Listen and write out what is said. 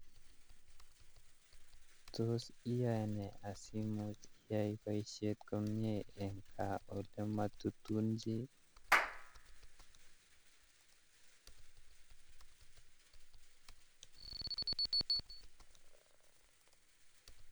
Tos iyae nee asimuch iyae boisiet komnyee eng gaa olematunun